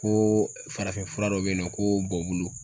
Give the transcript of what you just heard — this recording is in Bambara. Ko farafinfura dɔ be yen nɔ ko bɔ bulu